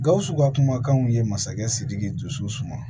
Gawusu ka kumakanw ye masakɛ sidiki dusu suma